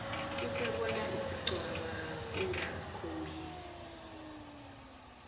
usibone sincwaba singakhombisi